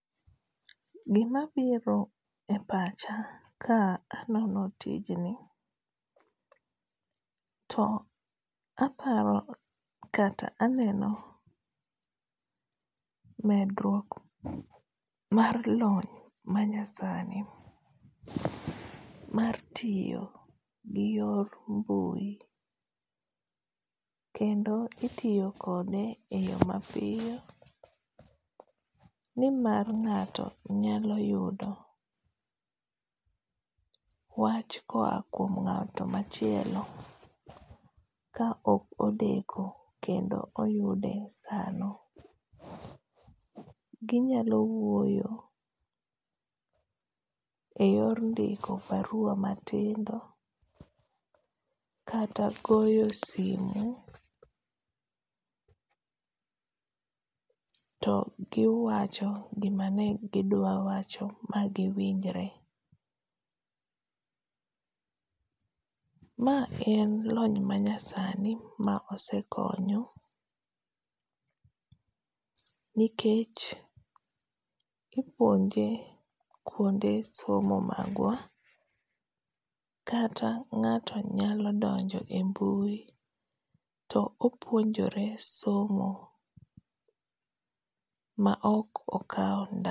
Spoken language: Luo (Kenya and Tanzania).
Gima biro e pacha ka anono tijni, to aparo kata aneno medruok mar lony manysani mar tiyo gi yor mbui. Kendo itiyo kode e yo mapiyo. Ni mar ngáto nyalo yudo wach koa kuom ngáto machielo ka ok odeko kendo oyude sano. Ginyalo wuoyo e yor ndiko barua matindo, kata goyo simu to giwacho gima ne gidwa wacho, ba giwinjore. Ma en lony manyasani ma osekonyo. Nikech ipuonje kuonde somo magwa, kata ngáto nyalo donjo e mbui, to opuonjore somo ma ok okao